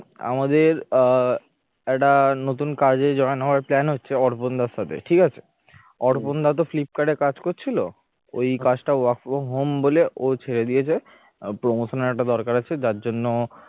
আমাদের আহ একটা নতুন কাজে join হওয়ার plan হচ্ছে অর্পণ দার সাথে, ঠিক আছে? অর্পণ দা তো ফ্লিপকার্টে কাজ করছিল ওই কাজটা work from home বলে ও ছেড়ে দিয়েছে promotion এর একটা দরকার আছে যার জন্য